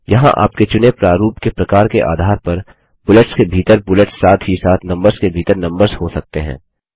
यहाँ आपके चुने प्रारूप के प्रकार के आधार पर बुलेट्स के भीतर बुलेट्स साथ ही साथ नम्बर्स के भीतर नम्बर्स हो सकते हैं